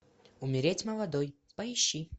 умереть молодой поищи